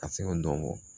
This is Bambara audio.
Ka se ka dɔn